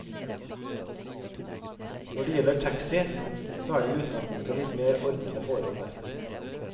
Når det gjelder taxi så er det i utgangspunktet litt mer ordnede forhold her.